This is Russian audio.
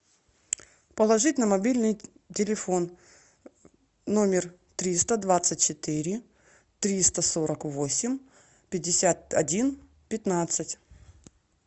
положить на мобильный телефон номер триста двадцать четыре триста сорок восемь пятьдесят один пятнадцать